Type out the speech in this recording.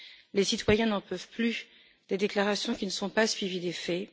Les citoyens n'en peuvent plus des déclarations qui ne sont pas suivies d'effets.